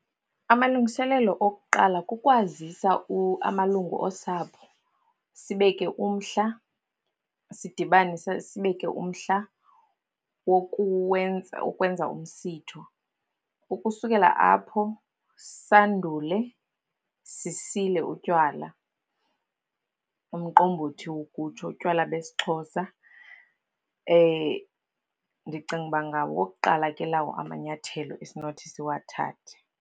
Amalungiselelo okuqala kukwazisa amalungu osapho, sibeke umhla, sidibane, sibeke umhla wokuwenza ukwenza umsitho. Ukusukela apho sandule sisile utywala. Umqombothi ukutsho, utywala besiXhosa. Ndicinga ukuba ngawokuqala ke lawo amanyathelo esinothi siwathathe.